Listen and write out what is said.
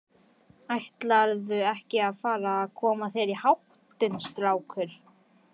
Ætlarðu ekki að fara að koma þér í háttinn, strákur?